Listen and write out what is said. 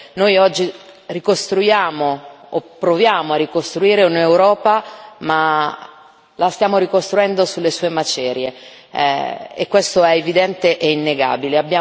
Noi oggi ricostruiamo o proviamo a ricostruire l'Europa, ma la stiamo ricostruendo sulle sue macerie e questo è evidente e innegabile.